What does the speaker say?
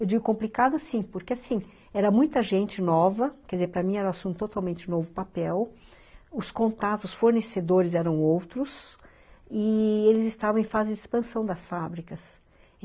Eu digo complicado, sim, porque assim, era muita gente nova, quer dizer, para mim era um assunto totalmente novo papel, os contatos, os fornecedores eram outros, e eles estavam em fase de expansão das fábricas.